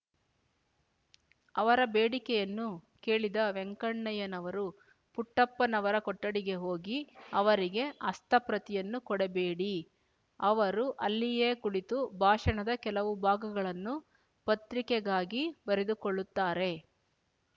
ಅವರ ಬೇಡಿಕೆಯನ್ನು ಕೇಳಿದ ವೆಂಕಣ್ಣಯ್ಯನವರು ಪುಟ್ಟಪ್ಪನವರ ಕೊಠಡಿಗೆ ಹೋಗಿ ಅವರಿಗೆ ಹಸ್ತಪ್ರತಿಯನ್ನು ಕೊಡಬೇಡಿ ಅವರು ಅಲ್ಲಿಯೇ ಕುಳಿತು ಭಾಷಣದ ಕೆಲವು ಭಾಗಗಳನ್ನು ಪತ್ರಿಕೆಗಾಗಿ ಬರೆದುಕೊಳ್ಳುತ್ತಾರೆ